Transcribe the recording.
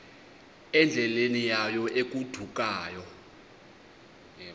endleleni yayo egodukayo